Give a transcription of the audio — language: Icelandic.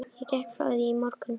Ég gekk frá því í morgun.